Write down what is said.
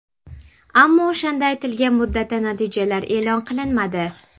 Ammo o‘shanda aytilgan muddatda natijalar e’lon qilinmadi.